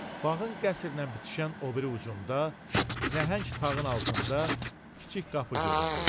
Bağın qəsrlə bitişən o biri ucunda, nəhəng tağın altında kiçik qapı göründü.